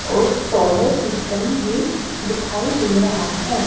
और solar system भी दिखाई दे रहा है।